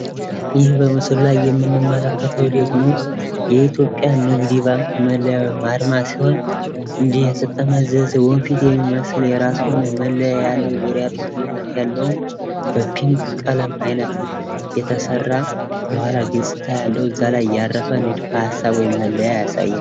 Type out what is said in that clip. ይህ በምስሉ ላይ የምንመለከተው ደግሞ የኢትዮጵያ ንግድ ባንክ መለያ ወይም አርማ ሲሆን እንዲህ የተጠመዘዘ ወንፊት የሚመስል የራሱ የሆነ መለያ ያለው፣ ዙሪያ ጥምጥምነት ያለውም በፒንክ ቀለም አይነት የተሰራ የኋላ ገጽታ ያለው እዛ ላይ ያረፈ ንድፈሀሳብ ወይም መለያ ያሳያል።